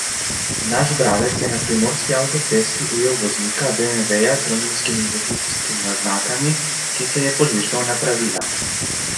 Naš bralec je na primorski avtocesti ujel voznika beemveja z romunskimi registrskimi oznakami, ki se je požvižgal na pravila.